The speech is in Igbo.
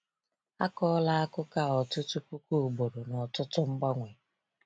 A kọọla akụkọ a ọtụtụ puku ugboro na ọtụtụ mgbanwe.